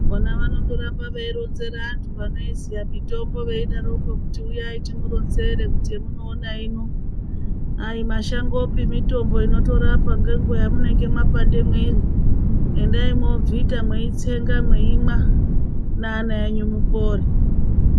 Ona vanondoramba veironzere vantu vanoiziya mitombo veidaroko kuti uyai timuronzere kuti yamunoona ino ayi mashangopi mitombo inotorapa nenguva yamunenge mapande mwiri endai mwobvita mweitsenga mweimwa neana enyu mupore.